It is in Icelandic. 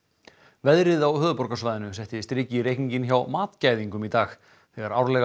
veðrið á höfuðborgarsvæðinu setti strik í reikninginn hjá matgæðingum í dag þegar árlega